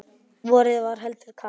Vorið var heldur kalt.